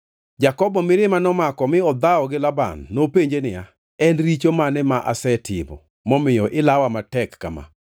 Jakobo mirima nomako mi odhawo gi Laban. Nopenje niya, “En richo mane masetimo momiyo ilawa matek kama?